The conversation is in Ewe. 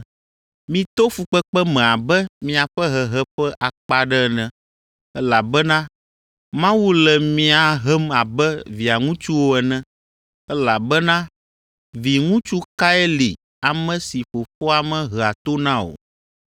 Mito fukpekpe me abe miaƒe hehe ƒe akpa aɖe ene, elabena Mawu le mia hem abe via ŋutsuwo ene, elabena viŋutsu kae li ame si fofoa mehea to na o?